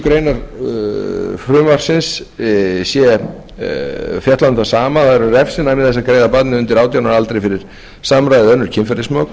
grein frumvarpsins er fjallað um það sama það er um refsinæmi þess að greiða barni undir átján ára fyrir samræði eða önnur kynferðismök